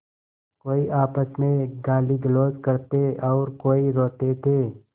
कोई आपस में गालीगलौज करते और कोई रोते थे